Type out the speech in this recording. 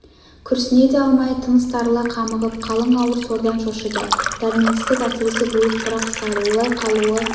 күрсіне де алмай тыныс тарыла қамығып қалың ауыр сордан шошыды дәрменсіздік әсіресе булықтыра қысады олай қалуы